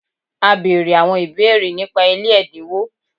A bere awon ibeere nipa ile edinwo